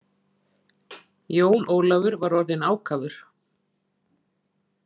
Jón Ólafur var orðinn ákafur.